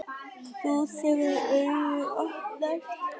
Þú, þegar augu opnast.